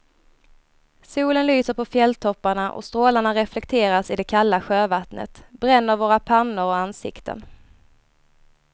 Solen lyser på fjälltopparna och strålarna reflekteras i det kalla sjövattnet, bränner våra pannor och ansikten.